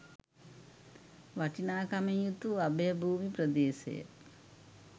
වටිනාකමින් යුතු අභයභූමි ප්‍රදේශය